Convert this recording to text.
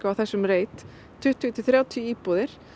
á þessum reit tuttugu til þrjátíu íbúðir